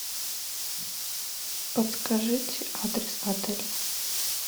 подскажите адрес отеля